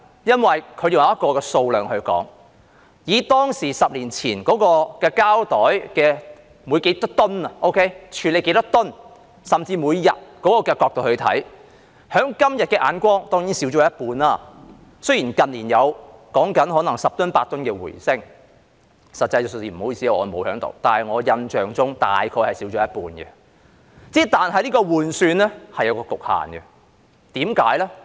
因為他們是按數量來說，以當時即10年所處理的膠袋數量是多少噸來計算，甚至每天處理的數量這角度來看，今天看來當然已減少一半，雖然近年說有十噸八噸的回升，很抱歉，我沒有實際的數字，但我印象中大約減少一半，只是這種換算是有局限的，為甚麼？